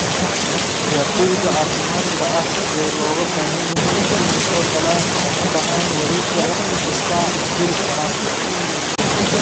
Ciyaartoyda caafimaadka ah ee looga baahan yahay in ay soo galaan oo ka baxaan wareegga wakhti kasta ma geli karaan.